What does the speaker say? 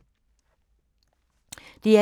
DR1